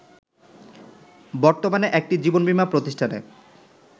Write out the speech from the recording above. বর্তমানে একটি জীবনবীমা প্রতিষ্ঠানে